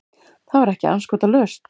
Það var ekki andskotalaust.